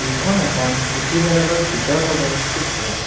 এইখন এখন পুথিভঁৰালৰ ভিতৰভাগৰ চিত্ৰ।